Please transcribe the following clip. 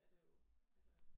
Er det jo altså